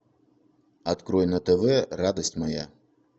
открой на тв радость моя